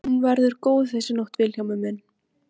Hún verður góð þessi nótt Vilhjálmur minn.